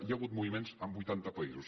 hi ha hagut moviments en vuitanta països